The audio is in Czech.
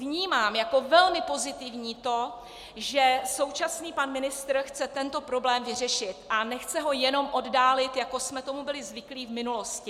Vnímám jako velmi pozitivní to, že současný pan ministr chce tento problém vyřešit a nechce ho jenom oddálit, jako jsme tomu byli zvyklí v minulosti.